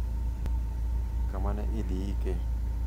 kama ne idhi ike.